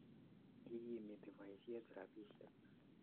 Ikimiti poisyet rapisyek